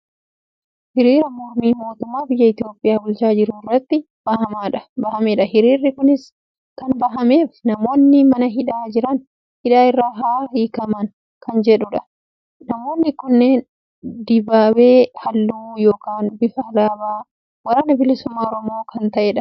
Hiriira mormii mootummaa biyya Itoopiyaa bulchaa jirurratti bahamedha. Hiriirri kunis kan bahameef namoonni mana hidhaa jiran hidhaa irraa haa hiikkaman kan jedhudha. Namoonni kunneen dibaabee halluu yookaan bifa alaabaa waraana bilisummaa Oromoo kan ta'edha.